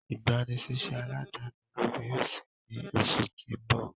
igbanisiṣẹ aladani ologun yoo ṣii ni oṣu ti n bọ.